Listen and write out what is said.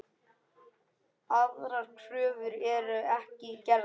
Aðrar kröfur eru ekki gerðar.